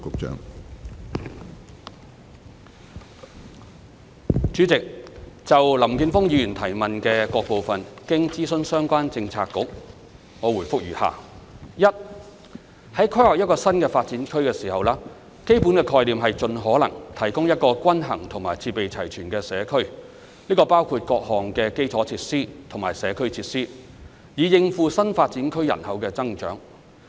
主席，就林健鋒議員質詢的各部分，經諮詢相關政策局，我答覆如下：一在規劃一個新發展區時，基本概念是盡可能提供一個均衡和設備齊全的社區，這包括各項基礎設施和社區設施，以應付新發展區人口的增長。